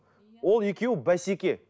ол екеуі бәсеке